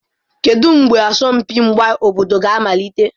Kedu mgbe asọmpi mgba obodo ga-amalite?